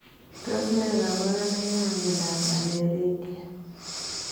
Tos nee kabarunoik ap miondoop Aniridia?